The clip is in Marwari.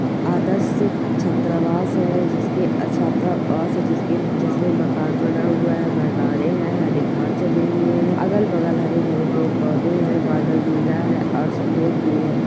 आद्रस छात्रावास है जिसके अ छात्रावास जिसके जिसमे मकान बना हुआ है मैदाने है हरी खास जमी हुई है अगल बगल हरे भरे पेड़ पौधे है बादल नीला है और सफेद भी है।